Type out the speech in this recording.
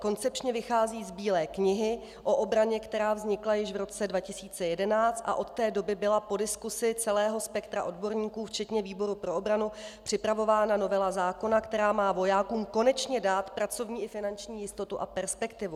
Koncepčně vychází z Bílé knihy o obraně, která vznikla již v roce 2011, a od té doby byla po diskusi celého spektra odborníků včetně výboru pro obranu připravována novela zákona, která má vojákům konečně dát pracovní a finanční jistotu a perspektivu.